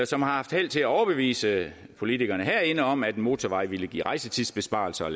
som har haft held til at overbevise politikerne herinde om at en motorvej ville give rejsetidsbesparelser